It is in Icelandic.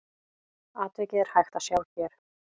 Atvikið er hægt að sjá hér.